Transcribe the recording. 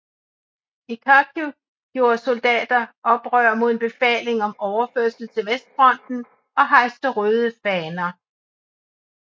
I Kharkiv gjorde soldater oprør mod en befaling om overførsel til Vestfronten og hejste røde faner